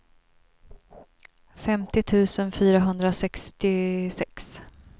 femtio tusen fyrahundrasextiosex